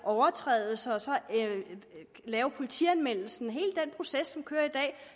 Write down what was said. overtrædelser og så lave politianmeldelsen med hele den proces